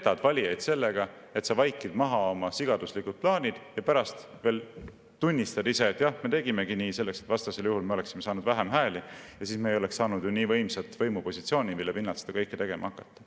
Sa petad valijaid sellega, et sa vaikid maha oma sigaduslikud plaanid, ja pärast veel tunnistad: jah, me tegimegi nii, sellepärast et vastasel juhul me oleksime saanud vähem hääli ja siis me ei oleks saanud ju nii võimsat võimupositsiooni, mille pinnalt seda kõike tegema hakata.